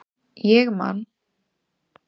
Ég man